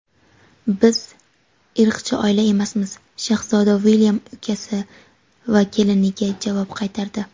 Biz irqchi oila emasmiz – shahzoda Uilyam ukasi va keliniga javob qaytardi.